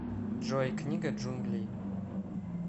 джой книга джунглей